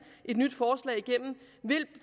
et nyt forslag igennem vil